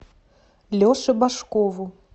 леше башкову